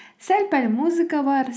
сәл пәл музыка бар